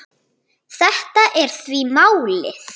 Þetta er því málið.